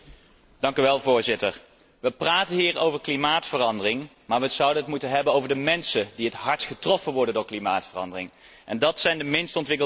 Voorzitter, we praten hier over klimaatverandering, maar we zouden het moeten hebben over de mensen die het hardst getroffen worden door klimaatverandering, en dat zijn de minst ontwikkelde landen.